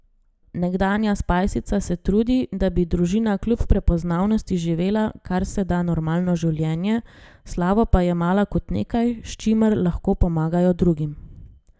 Nekdanja spajsica se trudi, da bi družina kljub prepoznavnosti živela kar se da normalno življenje, slavo pa jemala kot nekaj, s čimer lahko pomagajo drugim.